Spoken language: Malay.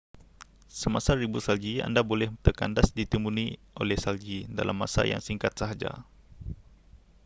semasa ribut salji anda boleh terkandas ditimbuni oleh salji dalam masa yang singkat sahaja